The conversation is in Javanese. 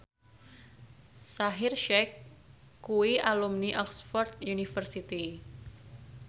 Shaheer Sheikh kuwi alumni Oxford university